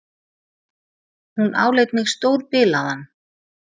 Hún áleit mig stórbilaðan.